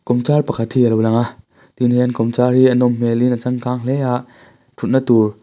kawmchar pakhat hi alo lang a tin he an kawmchar hi a nawm hmel in a changkang hle a ṭhutna tur--